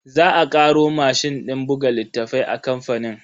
Za a karo mashin din buga littafai a kamfanin.